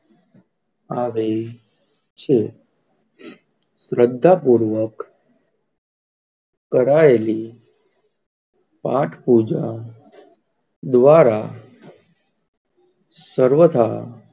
આવે છે શ્રદ્ધા પૂર્વક કરાયેલી પાઠ પૂજા દ્વારા સર્વથા,